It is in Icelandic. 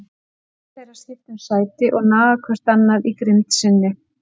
Orð þeirra skipta um sæti og naga hvert annað í grimmd sinni.